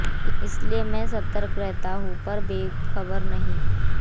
इसीलिए मैं सतर्क नहीं हूँ पर बेख़बर भी नहीं